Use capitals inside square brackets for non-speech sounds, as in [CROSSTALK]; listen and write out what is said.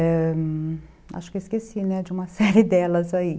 Ãh, acho que eu esqueci, né, [LAUGHS] de uma série delas aí.